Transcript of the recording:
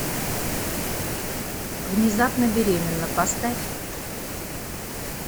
внезапно беременна поставь